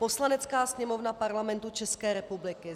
Poslanecká sněmovna Parlamentu České republiky